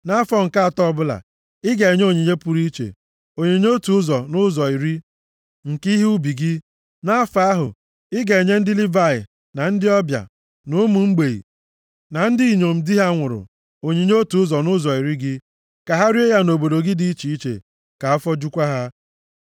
Nʼafọ nke atọ ọbụla, ị ga-enye onyinye pụrụ iche, onyinye otu ụzọ nʼụzọ iri, nke ihe ubi gị. Nʼafọ ahụ, ị ga-enye ndị Livayị, na ndị ọbịa, na ụmụ mgbei, na ndị inyom di ha nwụrụ, onyinye otu ụzọ nʼụzọ iri gị, ka ha rie ya nʼobodo gị dị iche iche, ka afọ jukwa ha.